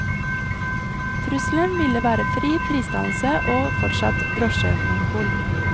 Trusselen ville vært fri prisdannelse og fortsatt drosjemonopol.